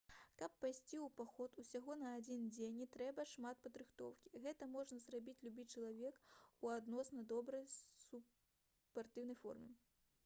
каб пайсці ў паход усяго на адзін дзень не трэба шмат падрыхтоўкі гэта можа зрабіць любы чалавек у адносна добрай спартыўнай форме